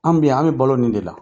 An bi yan an bɛ balo nin de la